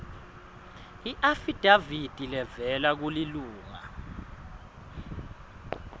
iafidavithi levela kulilunga